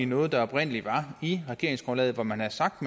noget der oprindelig var i regeringsgrundlaget hvor man havde sagt